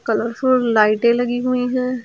Colourful लाइटे लगी हुई हैं।